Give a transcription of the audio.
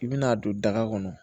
I bi n'a don daga kɔnɔ